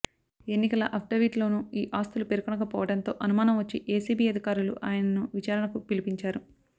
ఎన్నికల అఫడవిట్ లోనూ ఈ ఆస్తులు పేర్కొనకపోవడంతో అనుమానం వచ్చి ఏసీబీ అధికారులు ఆయనను విచారణకు పిలిపించారు